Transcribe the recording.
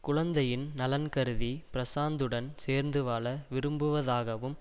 குழந்தையின் நலன் கருதி பிரசாந்துடன் சேர்ந்து வாழ விரும்புவதாகவும்